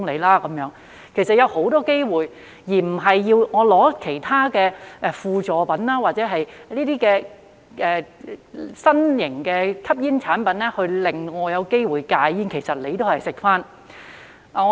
戒煙其實是有很多機會的，而不是要用其他輔助品或新型吸煙產品，令人有機會戒煙——但其實這同樣也是在吸煙。